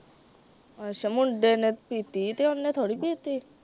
ਅੱਛਾ ਮੁੰਡੇ ਨੇ ਪੀਤੀ ਤੇ ਉਹਨੇ ਥੋੜੀ ਪੀਤੀ।